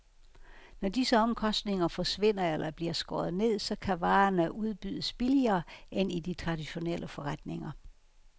Når disse omkostninger forsvinder eller bliver skåret ned, så kan varerne udbydes billigere end i de traditionelle forretninger.